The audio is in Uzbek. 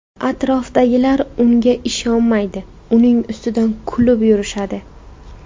Atrofidagilar unga ishonishmaydi, uning ustidan kulib yurishadi.